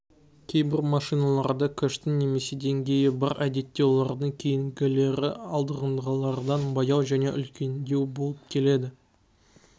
кейбір машиналарда кэштің немесе деңгейі бар әдетте олардың кейінгілері алдыңғылардан баяу және үлкендеу болып келеді